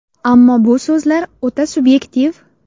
Ammo bu so‘zlar o‘ta subyektiv.